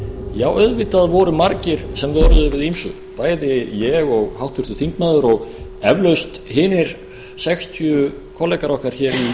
já auðvitað voru margir sem vöruðu við ýmsu bæði ég og háttvirtur þingmaður og eflaust hinir sextíu kollegar okkar hér í þinginu